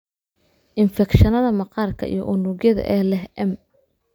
Infekshannada maqaarka iyo unugyada ee leh M.